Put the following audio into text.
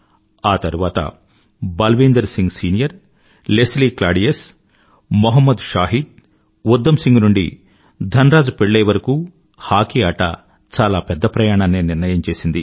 ఆ తరువాత బల్వీందర్ సింగ్ సీనియర్ లెస్లీ క్లాడియస్ లెస్లీ క్లాడియస్ మొహమ్మద్ షాహిద్ ఉద్దమ్ సింగ్ నుండి ధన్రాజ్ పిళ్ళై వరకూ హాకీ ఆట చాలా పెద్ద ప్రయాణాన్నే నిర్ణయం చేసింది